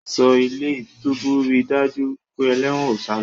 Ẹ̀ṣọ́ ilé-túbú rí daju wípé eléwòn o salọ.